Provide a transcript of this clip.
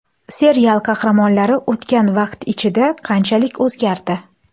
Serial qahramonlari o‘tgan vaqt ichida qanchalik o‘zgardi?